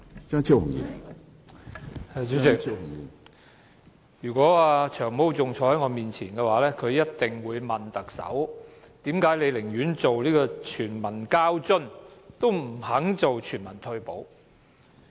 主席，如果"長毛"仍然坐在我前面，他一定會問特首，為何她寧願推出全民交通津貼，也不肯推行全民退休保障？